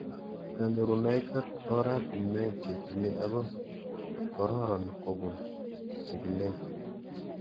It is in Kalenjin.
Kanyorunoik ak oratinwek che tile ako kororon kopun chikilet